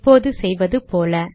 இப்போது செய்வது போல